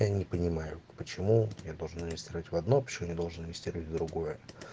я не понимаю почему я тоже настроить в одно пишу не должен инвестировать в другое